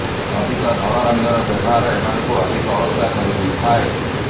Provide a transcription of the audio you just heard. ଅଧିକ ଧଳା ରଙ୍ଗର ବ୍ୟବହାର ଏମାନଙ୍କୁ ଅଧିକ ଅଳସୁଆ କରି ଦେଇଥାଏ